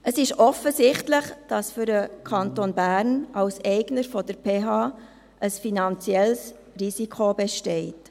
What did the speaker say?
Es ist offensichtlich, dass für den Kanton Bern als Eigner der PH Bern ein finanzielles Risiko besteht.